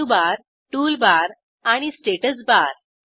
menu bar toolbar आणि status bar